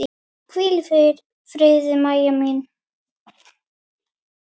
Hvíl í friði, Mæja mín.